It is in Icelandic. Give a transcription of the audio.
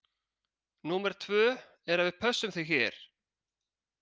Númer tvö er að við pössum þig hér.